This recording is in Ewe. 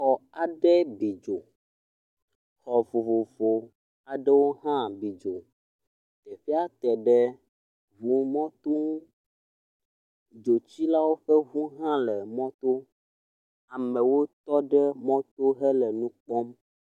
Xɔ aɖe bi dzo. Xɔ vovovo aɖe hã bi dzo. Teƒea te ɖe ŋu mɔto ŋu. Dzotsilawo ƒe ŋu hã le mɔto. Amewo tɔ ɖe mɔ to le nu kpɔm.